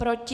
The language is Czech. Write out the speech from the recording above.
Proti?